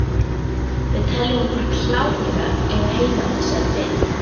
Við teljum okkur klárlega eiga heima í þessari deild.